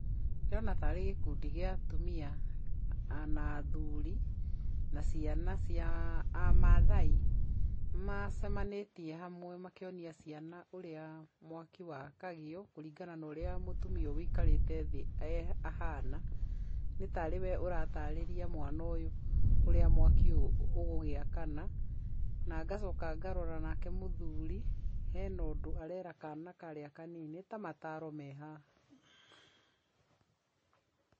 Ndĩrona tarĩ gĩkundi gĩa atumia na athuuri na ciana cia amaathai, macemanĩtie hamwe makĩonia ciana ũrĩa mwaki wakagio kũringana na ũria mũtumia ũyũ ũikarĩte thĩ ahana, nĩ tarĩ we aratarĩria mwana ũyũ ũrĩa mwaki ũyũ ũgũgĩakana, na ngacoka ngarora nake mũthuri, hena ũndũ arera kana karĩa kanini, nĩ ta mataaro mehaha.